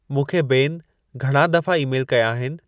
मूंखे बेन घणा दफ़ा ई-मेल कया आहिनि